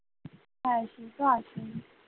হ্যাঁ সে তা আছেই ।